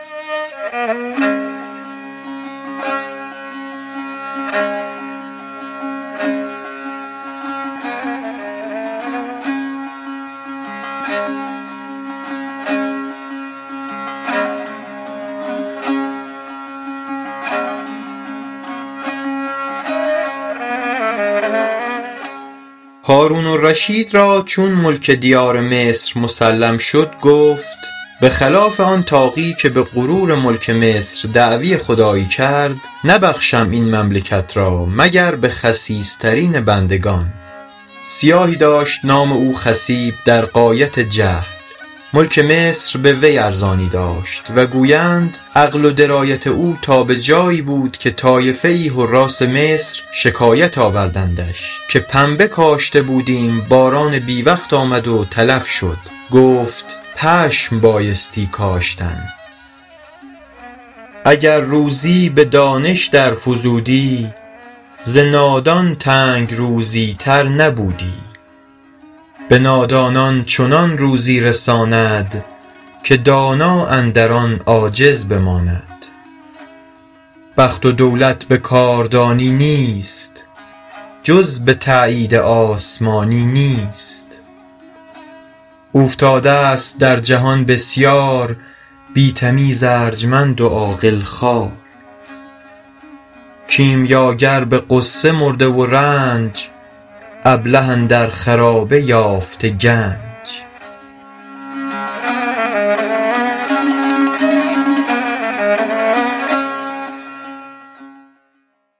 هارون الرشید را چون ملک دیار مصر مسلم شد گفت به خلاف آن طاغی که به غرور ملک مصر دعوی خدایی کرد نبخشم این مملکت را مگر به خسیس ترین بندگان سیاهی داشت نام او خصیب در غایت جهل ملک مصر به وی ارزانی داشت و گویند عقل و درایت او تا به جایی بود که طایفه ای حراث مصر شکایت آوردندش که پنبه کاشته بودیم باران بی وقت آمد و تلف شد گفت پشم بایستی کاشتن اگر دانش به روزی در فزودی ز نادان تنگ روزی تر نبودی به نادانان چنان روزی رساند که دانا اندر آن عاجز بماند بخت و دولت به کاردانی نیست جز به تأیید آسمانی نیست اوفتاده ست در جهان بسیار بی تمیز ارجمند و عاقل خوار کیمیاگر به غصه مرده و رنج ابله اندر خرابه یافته گنج